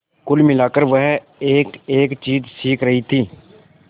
कुल मिलाकर वह एकएक चीज सीख रही थी